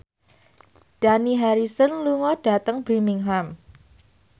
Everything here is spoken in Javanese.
Dani Harrison lunga dhateng Birmingham